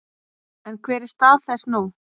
En hver er stað þess nú?